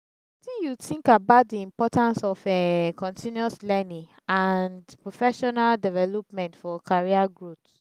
wetin you think about di importance of um continuous learning and professional development for career growth?